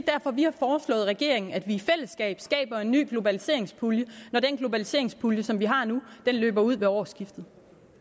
vi har foreslået regeringen at vi i fællesskab skaber en ny globaliseringspulje når den globaliseringspulje som vi har nu løber ud ved årsskiftet